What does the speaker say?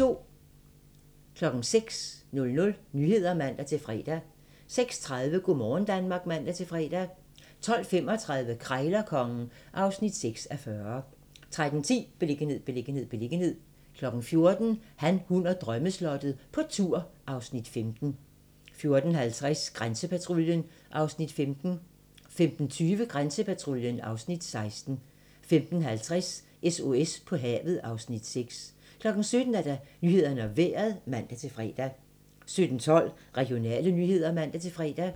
06:00: Nyhederne (man-fre) 06:30: Go' morgen Danmark (man-fre) 12:35: Krejlerkongen (6:40) 13:10: Beliggenhed, beliggenhed, beliggenhed 14:00: Han, hun og drømmeslottet - på tur (Afs. 15) 14:50: Grænsepatruljen (Afs. 15) 15:20: Grænsepatruljen (Afs. 16) 15:50: SOS på havet (Afs. 6) 17:00: Nyhederne og Vejret (man-fre) 17:12: Regionale nyheder (man-fre)